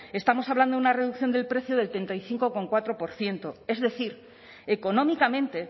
estamos hablando de una reducción del precio de treinta y cinco coma cuatro por ciento es decir económicamente